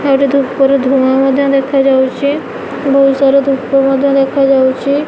ଏଠାରେ ଧୂପ ରେ ଧୂଆଁ ମଧ୍ୟ ଦେଖାଯାଉଚି ବହୁତ ସାରା ଧୂପ ମଧ୍ୟ ଦେଖାଯାଉଚି।